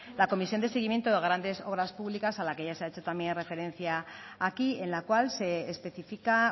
la comisión de seguimiento de grandes obras públicas a la que ya se ha hecho también referencia aquí en la cual se especifica